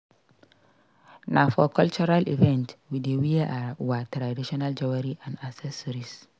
Na for cultural events we dey wear our traditional jewelry and accessories.